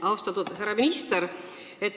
Austatud härra minister!